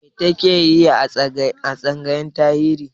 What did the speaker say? Me ta ke yi a tsangayar Tarihi?